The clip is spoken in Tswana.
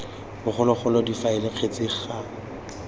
bogologolo difaele ts kgetse ga